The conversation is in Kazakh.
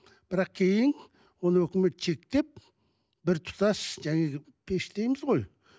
бірақ кейін оны өкімет шектеп бір тұтас пеш дейміз ғой